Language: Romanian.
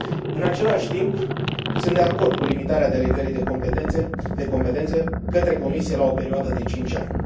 În același timp, sunt de acord cu limitarea delegării de competențe către Comisie la o perioadă de cinci ani.